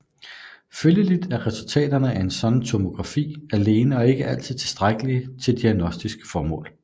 Følgelig er resultaterne af en sådan tomografi alene ikke altid tilstrækkelige til diagnostiske formål